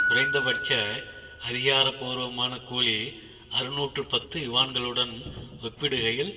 குறைந்தபட்ச அதிகாரபூர்வமான கூலி அறுநூற்று பத்து யுவான்களுடன் ஒப்பிடுகையில்